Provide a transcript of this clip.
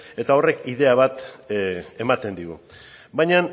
eta horrek ideia bat ematen digu baina